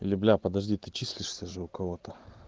или бля подожди ты числишься же у кого-то